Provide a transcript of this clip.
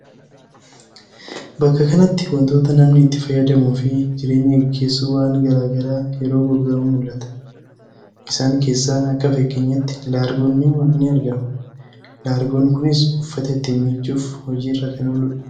Bakka kanatti wantoota namni itti fayyadamuu fi jireenya gaggeessu waan gara garaa yeroo gurguramu mul'ata. Isaan keessaa akka fakkeenyaatti Laargoon ni argama. Laargoon kunis uffata ittiin miiccuuf hojii irra kan ooludha.